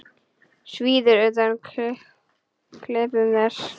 Svíður undan klipum þess.